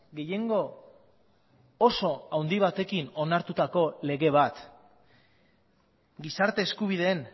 gehiengo oso handi batekin onartutako lege bat gizarte eskubideen